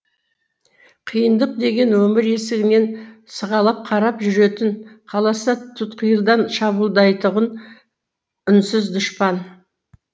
қиындық деген өмір есігінен сығалап қарап жүретін қаласа тұтқиылдан шабуылдайтұғын үнсіз дұшпан